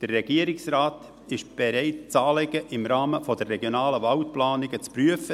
Der Regierungsrat ist bereit, das Anliegen im Rahmen der Regionalen Waldplanung (RWP) zu prüfen.